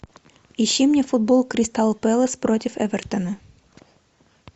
ищи мне футбол кристал пэлас против эвертона